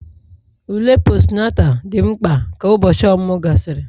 ule Postunata dị mkpa ka ụbọchị ọmụmụ gasịrị